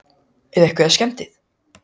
Brynja: Eru einhverjar skemmdir?